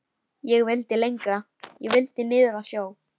Ég vildi lengra. ég vildi niður að sjó.